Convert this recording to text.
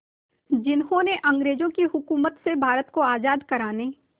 जिन्होंने अंग्रेज़ों की हुकूमत से भारत को आज़ाद कराने